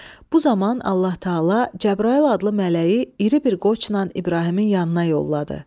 Bu zaman Allah Təala Cəbrayıl adlı mələyi iri bir qoçla İbrahimin yanına yolladı.